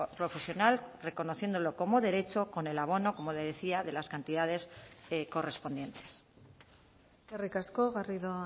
profesional reconociéndolo como derecho con el abono como le decía de las cantidades correspondientes eskerrik asko garrido